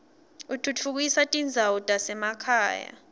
utfutfukisa tindzawo tasemakhaya